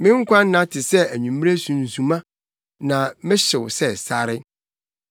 Me nkwa nna te sɛ anwummere sunsuma; na mehyew sɛ sare.